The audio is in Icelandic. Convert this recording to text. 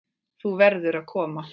Þú verður að koma.